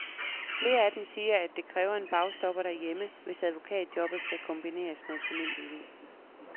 Flere af dem siger, at det kræver en bagstopper derhjemme, hvis advokatjobbet skal kombineres med familieliv.